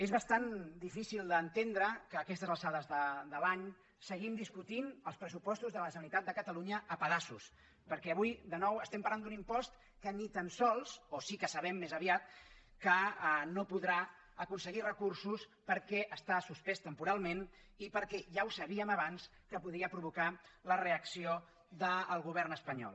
és bastant difícil d’entendre que a aquestes alçades de l’any seguim discutint els pressupostos de la generalitat de catalunya a pedaços perquè avui de nou estem parlant d’un impost que ni tan sols o sí que ho sabem més aviat no podrà aconseguir recursos perquè està suspès temporalment i perquè ja ho sabíem abans podia provocar la reacció del govern espanyol